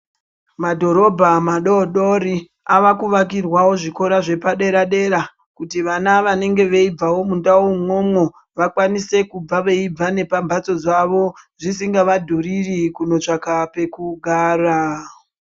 Madhorobha madodori akuvakirwawo zvikora zvepadera dera kuti vana vanenge veibvawo mundau umwomwo vakwanise kubva veibva nepamhatso dzavo zvisingavadhururi kugara.